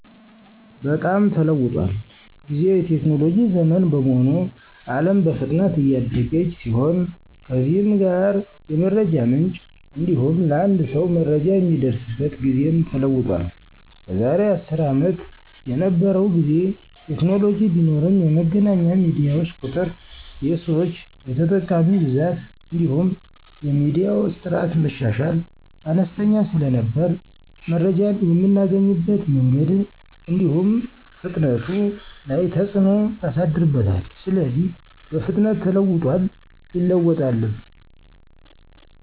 በጣምተለውጦል ጊዜው የቴክኖሎጂ ዘመን በመሆኑ አለም በፍጥነት እያደገች ሲሆንከዚህም ጋር የመረጃ ምንጭ እንዲሁሐም ለአንድ ሰው መረጃ የሚደርስበት ጊዜም ተለውጧል። ከዛሬ አስር አመት የነበረው ጊዜ ቴክኖሎጂ ቢኖርም የመገናኛ ሚዲያዋች ቁጥር፣ የሰዋች(የተጠቃሚ)ብዛትእንዲሁም የሚዲያዋች ጥራት(መሻሻል) አነስተኛ ስለነበር መረጃን የምናገኝቀት መንገድን እዲሁም ፍጥነቱ ላይ ተጽኖ ያሳድርበታል። ስለዚህ በፍጥነት ተለውጦል ይለወጣልም።